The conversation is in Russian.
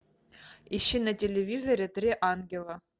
ищи на телевизоре три ангела